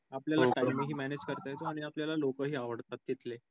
आपल्याला time हि manage करता येतो आणि आपल्याला लोकही आवडतात तिथले